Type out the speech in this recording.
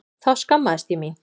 Þá skammaðist ég mín.